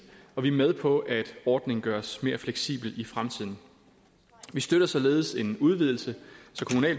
og vi er med på at ordningen gøres mere fleksibel i fremtiden vi støtter således en udvidelse